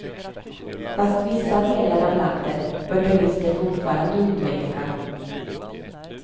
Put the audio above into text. Fast vissa delar av landet bör turister fortfarande undvika.